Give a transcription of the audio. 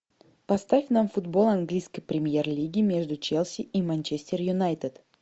поставь нам футбол английской премьер лиги между челси и манчестер юнайтед